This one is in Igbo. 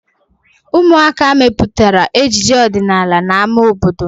Ụmụaka mepụtara ejije ọdịnala na ámá obodo.